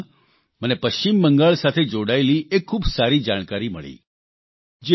આ જ ક્રમમાં મને પશ્ચિમ બંગાળ સાથે જોડાયેલી એક ખૂબ સારી જાણકારી મળી